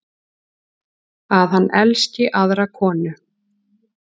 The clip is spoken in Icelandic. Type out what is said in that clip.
Að hann elski aðra konu.